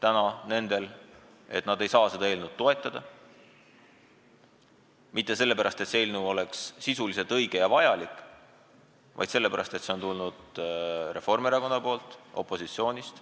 Osa nendest ei saa seda eelnõu toetada mitte sellepärast, et see pole sisult õige ja vajalik, vaid sellepärast, et see on tulnud Reformierakonnast, opositsioonist.